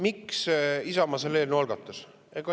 Miks Isamaa selle eelnõu algatas?